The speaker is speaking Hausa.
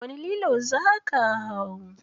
Wani lilo za ka hau?